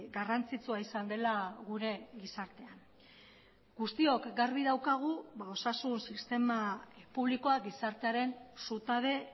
garrantzitsua izan dela gure gizartean guztiok garbi daukagu osasun sistema publikoa gizartearen zutabe